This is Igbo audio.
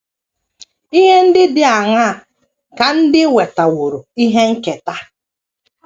Ihe ndị dị aṅaa ka ndị nwetaworo ihe nketa?